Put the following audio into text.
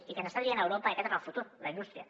i que ens està dient europa que aquest és el futur la indústria